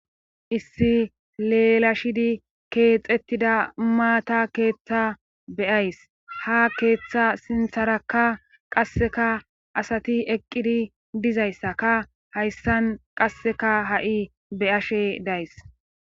issi leelashidi keexettida maata keeththa be7ays ha keeththa sintharakka qasseka asati eqqidi dizayssaka hayssan qasseka ha7i be7ashe days.